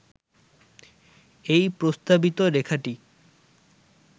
এই প্রস্তাবিত রেখাটি